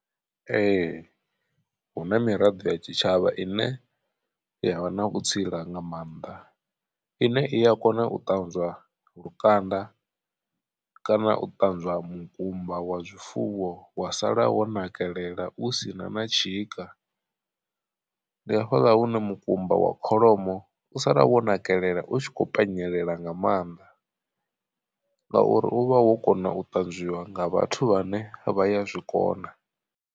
Ee hu na miraḓo ya tshitshavha ine yavha na vhutsila nga maanḓa ine i ya kona u ṱanzwa lukanda kana u ṱanzwa mukumba wa zwifuwo wa sala wo nakelela u sina na tshika. Ndi hafhaḽa hune mukumba wa kholomo u sala wo nakelela u tshi kho penyelela nga maanḓa. Ngauri u vha wo kona u tanzwiwa nga vhathu vhane vha ya zwikona.